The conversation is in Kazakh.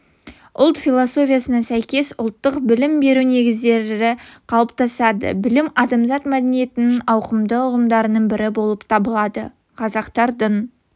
ұлт философиясына сәйкес ұлттық білім беру негіздері қалыптасады білім адамзат мәдениетінің ауқымды ұғымдарының бірі болып табылады қазақтардың